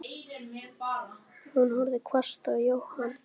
Hún horfði hvasst á Jóhann.